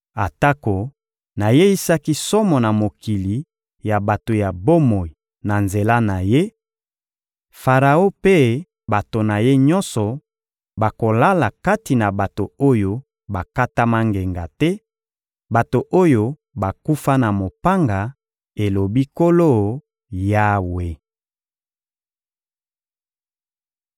Atako nayeisaki somo na mokili ya bato ya bomoi na nzela na ye, Faraon mpe bato na ye nyonso bakolala kati na bato oyo bakatama ngenga te, bato oyo bakufa na mopanga, elobi Nkolo Yawe.»